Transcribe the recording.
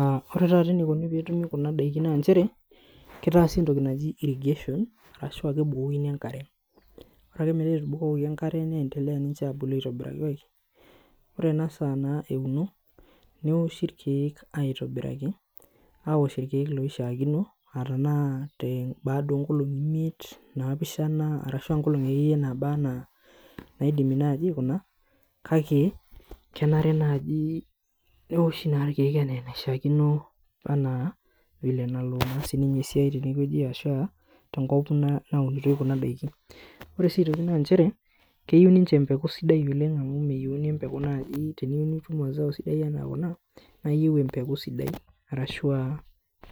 Uh ore taata enikoni peetumi kuna daikin nanchere kitaasi entoki naji irrigation arashua kebukokini enkare ore ake metaa etubukokoki enkare niendelea ninche abulu aitobiraki ai ore ena saa naa euno neoshi irkeek aitobiraki aosh irkeek loishiakino uh tanaa baada onkolong'i imiet naapishana arashua nkolong'i akeyie naaba anaa naidimi naaji aikuna kake kenare naaji neoshi naa irkeek enaa enaishiakino anaa vile enalo naa sininye esiai tenewueji ashua tenkop na naunitoi kuna daiki ore sii aitoki nanchere keyieu ninche empeku sidai oleng amu meyieuni empeku naaji teniyieu nitum mazao sidai anaa kuna naa iyieu empeku sidai arashua